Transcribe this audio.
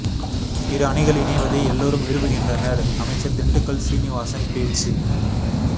இரு அணிகள் இணைவதை எல்லோரும் விரும்புகின்றனர் அமைச்சர் திண்டுக்கல் சீனிவாசன் பேச்சு